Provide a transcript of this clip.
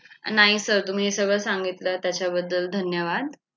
नाही sir तुम्ही सगळं सांगितलं त्याबद्दल धन्यवाद!